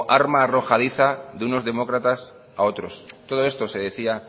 arma arrojadiza de unos demócratas a otros todo esto se decía